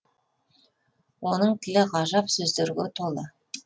оның тілі ғажап сөздерге толы